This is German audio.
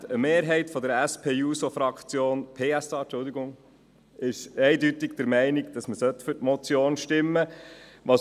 Eine Mehrheit der SP-JUSO-PSA-Fraktion ist eindeutig der Meinung, dass man für die Motion stimmen soll.